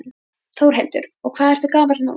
Þórhildur: Og hvað ertu gamall núna?